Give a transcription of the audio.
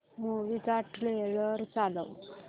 movie चा trailer चालव